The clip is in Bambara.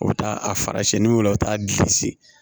U bɛ taa a fara siɲɛnniw u bɛ taa gilisi